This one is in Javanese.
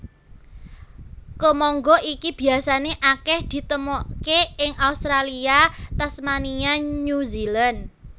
Kemangga iki biasané akèh ditemokaké ing Australia Tasmania New Zealand